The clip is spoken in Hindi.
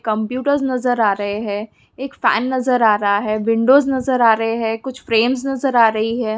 कंप्यूटरस नज़र आ रही है एक फैन नज़र आ रहा है विंडोस नज़र आ रही है कुछ फ्रेमस नज़र आ रहे हैं।